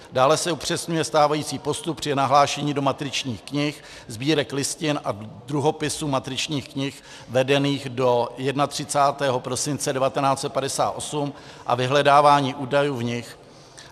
Dále se upřesňuje stávající postup při nahlášení do matričních knih, sbírek listin a druhopisů matričních knih vedených do 31. prosince 1958 a vyhledávání údajů v nich.